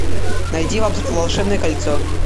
найди волшебное кольцо